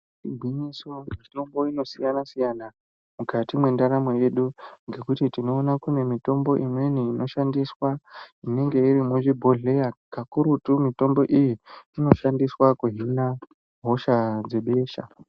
Igwinyiso mitombo inosiyanasiyana mukati mwendaramo yedu ngekuti tinoona kune mitombo imweni inoshandiswa inenge iri muzvibhohleya kakurutu mitombo iyi inoshandiswa kuhina hosha dzebesha.